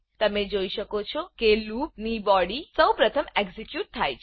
તમે જોઈ શકો છો કે લૂપ લુપ ની બોડી સૌપ્રથમ એક્ઝેક્યુટ થાય છે